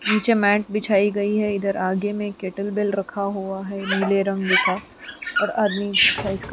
नीचे मैट दिखाई गई है इधर आगे में कैटल बेल रखा हुआ है नीले रंग का और आदमी एक्सरसाइज क--